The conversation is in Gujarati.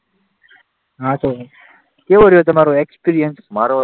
હા તો કેવો રહ્યો તમારો એક્સપિરિયન્સ?